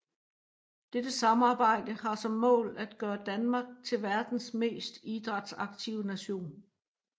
Dette samarbejde har som mål at gøre Danmark til verdens mest idrætsaktive nation